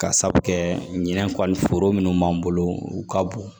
Ka sabu kɛ ɲinɛ kɔli foro minnu b'an bolo u ka bon